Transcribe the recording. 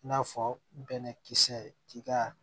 I n'a fɔ bɛnɛkisɛ k'i ka